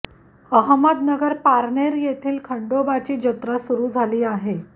अहमदनगर पारनेर येथील खंडोबाची जत्रा सुरू झाली आहे